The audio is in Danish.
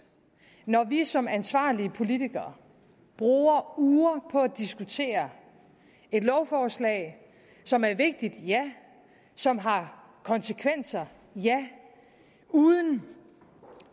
når vi som ansvarlige politikere bruger uger på at diskutere et lovforslag som er vigtigt ja som har konsekvenser ja uden